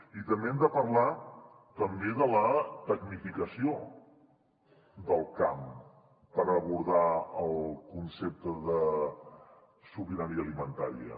i també hem de parlar de la tecnificació del camp per abordar el concepte de sobirania alimentària